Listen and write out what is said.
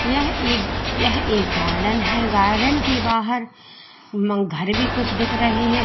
यह एक यह एक गार्डन है गार्डन के बाहर घर भी कुछ दिख रहे हैं।